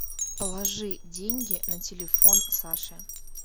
положи деньги на телефон саше